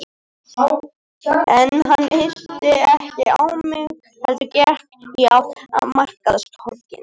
En hann yrti ekki á mig heldur gekk í átt að markaðstorginu.